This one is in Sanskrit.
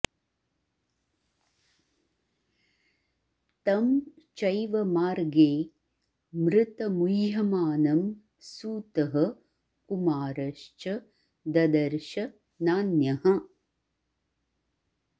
तं चैव मार्गे मृतमुह्यमानं सूतः कुमारश्च ददर्श नान्यः